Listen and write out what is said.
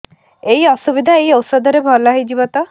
ଏଇ ଅସୁବିଧା ଏଇ ଔଷଧ ରେ ଭଲ ହେଇଯିବ ତ